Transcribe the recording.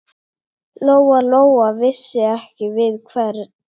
Lóa-Lóa vissi ekki við hvern.